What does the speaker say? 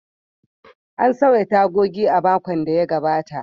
An sauya tagogin a makon da ya gabata.